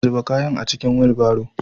Zuba kayan a cikin wilbaro.